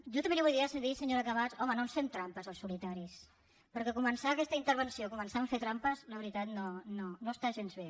jo també li volia dir senyora camats home no ens fem trampes al solitari perquè començar aquesta intervenció començant fent trampes la veritat no està gens bé